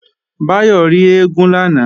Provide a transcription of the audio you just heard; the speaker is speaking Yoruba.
Báyọ̀ rí eégún lánàá